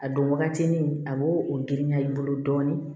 A don wagati ni a b'o o girinya i bolo dɔɔnin